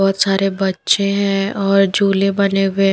बहुत सारे बच्चे हैं और झूले बने हुए --